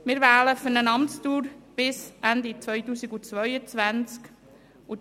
Wir wählen für eine Amtsdauer bis Ende 2022.